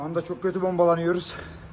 Şu anda çox pis bombalanırıq.